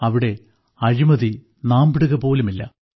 അവിടെ അഴിമതി നാമ്പിടുകപോലുമില്ല